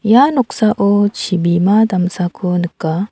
ia noksao chibima damsako nika.